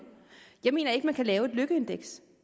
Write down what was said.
jeg mener ikke man kan lave et lykkeindeks